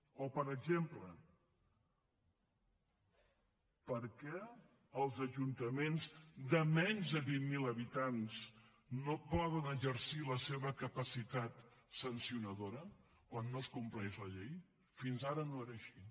o per exemple per què els ajuntaments de menys de vint mil habitants no poden exercir la seva capacitat sancionadora quan no es compleix la llei fins ara no era així